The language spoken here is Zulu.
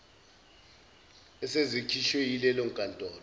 esikhishwe yileyo nkantolo